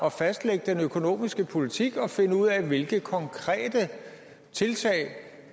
at fastlægge den økonomiske politik og finde ud af hvilke konkrete tiltag